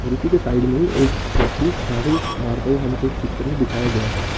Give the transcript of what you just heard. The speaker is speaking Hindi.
कुर्सी के साइड में एक व्यक्ति झाड़ू मारता हुआ हमको इस पिक्चर में दिखाया गया है।